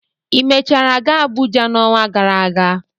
Ị mechara gaa Abụja n'ọnwa gara aga?